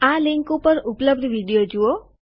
આ લીંક ઉપર ઉપલબ્ધ વિડીઓ જુઓ